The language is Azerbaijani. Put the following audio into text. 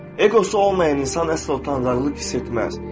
Eqosu olmayan insan əsla utanclıq hiss etməz.